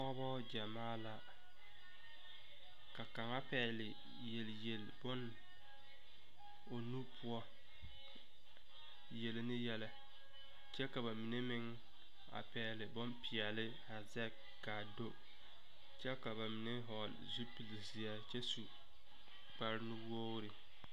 Pɔgbɔ gyamaa la. Ka kanga pɛgle yelyel boŋ o nu poʊ yele ne yelɛ. Kyɛ ka ba mene meŋ a pɛgle bon piɛle a zeg kaa do. Kyɛ ka ba mene vogle zupul zie kyɛ su kparo nu wogre